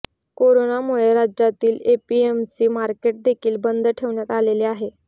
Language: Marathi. कोरोनामुळे राज्यातील एपीएमसी मार्केट देखील बंद ठेवण्यात आलेले आहे